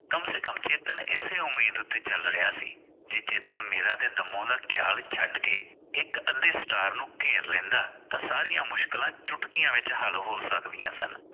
ਕਮ ਹੈ ਕਮ ਚੇਤਨ ਇਸੇ ਉਮੀਦ ਤੇ ਚਲ ਰਿਹਾ ਸੀ ਚੇਤਨ ਮੇਰਾ ਤੇ ਦੰਮੋ ਦਾ ਖਿਆਲ ਛੱਡ ਕੇ ਇਕ ਅੱਧੇ ਸਟਾਰ ਨੂੰ ਘੇਰ ਲੈਂਦਾ ਤਾਂ ਸਾਰੀਆਂ ਮੁਸ਼ਕਿਲਾਂ ਚੁਟਕੀਆਂ ਵਿਚ ਹੱਲ ਹੋ ਸਕਦੀਆਂ ਸਨ।